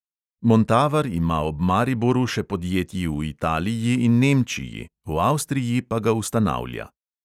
Montavar ima ob mariboru še podjetji v italiji in nemčiji, v avstriji pa ga ustanavlja.